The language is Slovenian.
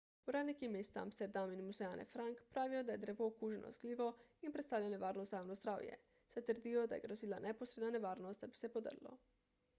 uradniki mesta amsterdam in muzeja ane frank pravijo da je drevo okuženo z glivo in predstavlja nevarnost za javno zdravje saj trdijo da je grozila neposredna nevarnost da bi se podrlo